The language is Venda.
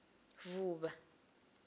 vuvha